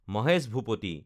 Mahesh Bhupathi